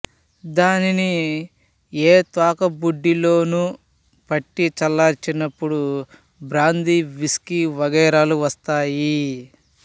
దానిని ఏ తోకబుడ్డిలోనో పట్టి చల్లార్చినప్పుడు బ్రాందీ విష్కీ వగైరాలు వస్తాయి